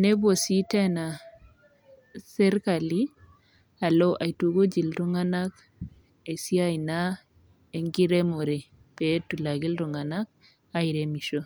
nepuo sii Tena sirkali aloaitukuj iltung'ana esiai enkiremore pee etum iltung'ana airemisho